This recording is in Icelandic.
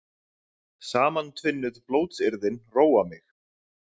Samantvinnuð blótsyrðin róa mig.